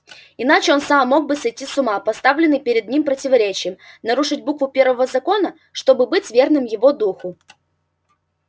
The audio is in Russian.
иначе он сам мог бы сойти с ума поставленный перед ним противоречием нарушить букву первого закона чтобы быть верным его духу